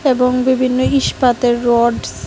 এবং বিভিন্ন ইস্পাতের রড --